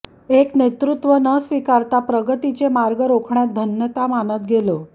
एक नेतृत्व न स्वीकारता प्रगतीचे मार्ग रोखण्यात धन्यता मानत गेलो